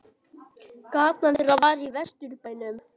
Gatan þeirra var í Vesturbænum.